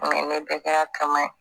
ne bɛɛ kɛra kaman ye